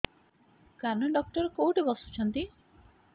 କାନ ଡକ୍ଟର କୋଉଠି ବସୁଛନ୍ତି